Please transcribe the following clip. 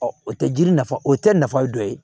o tɛ jiri nafa o tɛ nafa ye dɔ ye